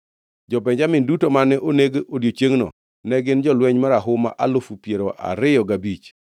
Jo-Benjamin duto mane oneg odiechiengno ne gin jolweny marahuma alufu piero ariyo gabich.